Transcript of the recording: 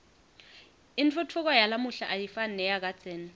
intfutfuko yalamuhla ayifani neyakadzeni